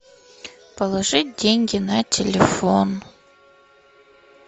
положить деньги на телефон